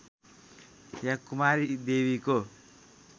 या कुमारी देवीको